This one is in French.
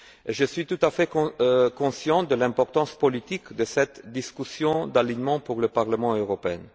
Je suis tout à fait conscient de l'importance politique de cette discussion d'alignement pour le Parlement européen.